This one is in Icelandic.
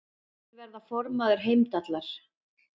Vill verða formaður Heimdallar